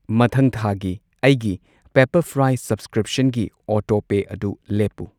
ꯃꯊꯪ ꯊꯥꯒꯤ ꯑꯩꯒꯤ ꯄꯦꯞꯄꯔꯐ꯭ꯔꯥꯏ ꯁꯕꯁꯀ꯭ꯔꯤꯞꯁꯟꯒꯤ ꯑꯣꯇꯣꯄꯦ ꯑꯗꯨ ꯂꯦꯞꯄꯨ ꯫